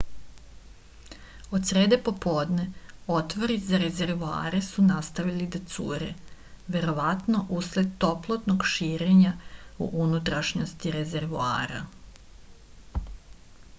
od srede popodne otvori za rezervoare su nastavili da cure verovatno usled toplotnog širenja u unutrašnjosti rezervoara